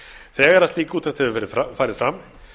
þegar slík úttekt hefur farið fram